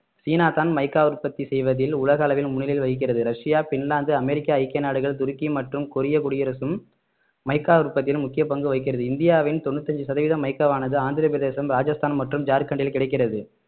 சீனாதான் mica உற்பத்தி செய்வதில் உலக அளவில் முன்னிலை வகிக்கிறது ரஷ்யா பின்லாந்து அமெரிக்க ஐக்கிய நாடுகள் துருக்கி மற்றும் கொரிய குடியரசும் மைக்கா உற்பத்தியில் முக்கிய பங்கு வகிக்கிறது இந்தியாவின் தொண்ணூத்தி அஞ்சு சதவீதம் மைக்காவானது ஆந்திரப்பிரதேசம் ராஜஸ்தான் மற்றும் ஜார்கண்டில் கிடக்கிறது